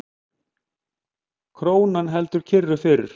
Krónan heldur kyrru fyrir